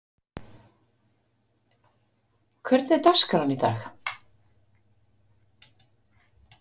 Sæmar, hvernig er dagskráin í dag?